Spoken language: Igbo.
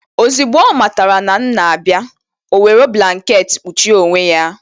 Ozigbo ọ matara na m na-abịa o were blanketi kpuchie onwe ya.